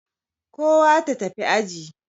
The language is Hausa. Kowa ta tafi aji.